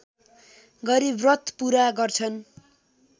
गरी व्रत पूरा गर्छन्